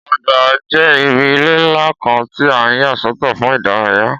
Ọgbà jẹ́ ibi ilẹ̀ ńlá kan tí a yà sọ́tọ̀ fún ìdárayá